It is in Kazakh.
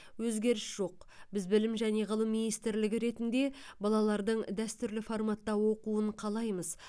өзгеріс жоқ біз білім және ғылым министрлігі ретінде балалардың дәстүрлі форматта оқуын қалаймыз